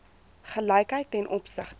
gelykheid ten opsigte